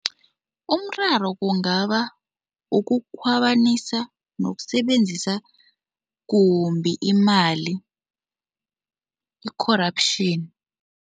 Umraro kungaba ukukhwabanisa nokusebenzisa kumbi imali, i-corruption.